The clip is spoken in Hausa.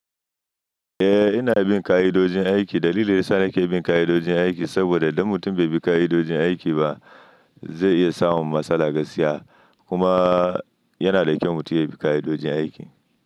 Eh ina bin ka'idojin aiki. Dalilin da yasa nake bin ka'idojin aiki saboda idan mutum bai bi ka'idojin aiki ba zai iya samun matsala gaskiya kuma yana da kyau mutum ya bi ka'idojin aiki.